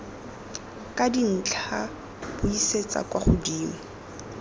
ka dintlha buisetsa kwa godimo